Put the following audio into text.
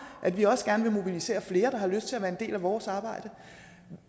at vi også gerne vil mobilisere flere der har lyst til at være en del af vores arbejde